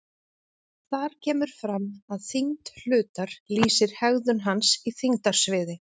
Þar kemur fram að þyngd hlutar lýsir hegðun hans í þyngdarsviði.